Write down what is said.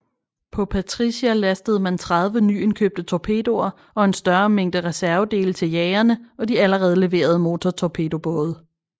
På Patricia lastede man 30 nyindkøbte torpedoer og en større mængde reservedele til jagerne og de allerede leverede motortorpedobåde